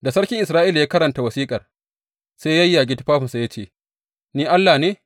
Da sarkin Isra’ila ya karanta wasiƙar, sai ya yayyage tufafinsa, ya ce, Ni Allah ne?